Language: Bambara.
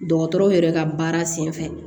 Dɔgɔtɔrɔw yɛrɛ ka baara sen fɛ